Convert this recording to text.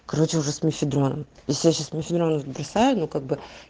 короче уже с мефедрон если я сейчас мефедрон бросаю ну как бы